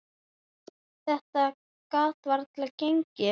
Þetta gat varla gengið.